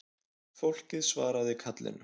Fólkið svaraði kallinu